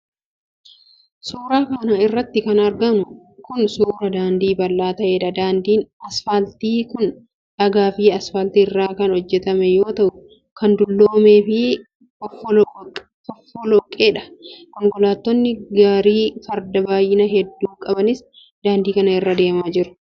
Suura kana irratti kan arginu kun, suura daandii bal'aa ta'eedha. Daandin asfaaltii kun, dhagaa fi asfaaltii irraa kan hojjatame yoo ta'u, kan dulloomee fi fofolloqeedha. Konkolaattonni gaarii fardaa baay'ina hedduu qabaniis daandii kana irra deemaa jiru.